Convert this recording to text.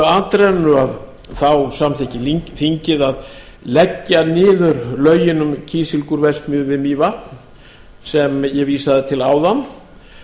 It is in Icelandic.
atrennu samþykki þingið að leggja niður lögin um kísilgúrverksmiðju við mývatn sem ég vísaði til áðan